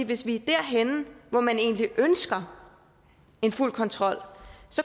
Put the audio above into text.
hvis vi er derhenne hvor man egentlig ønsker en fuld kontrol